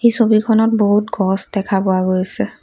ছবিখনত বহুত গছ দেখা পোৱা গৈছে।